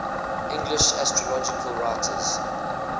english astrological writers